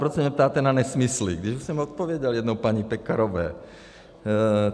Proč se mě ptáte na nesmysly, když už jsem odpověděl jednou paní Pekarové.